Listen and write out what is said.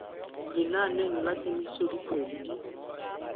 lenaneng la kemiso dikgwedi di